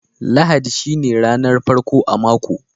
Lahadi shine ranan farko a mako.